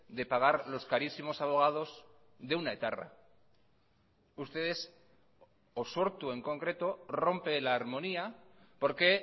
de pagar los carísimo abogados de una etarra ustedes o sortu en concreto rompe la armonía porque